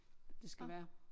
Det skal være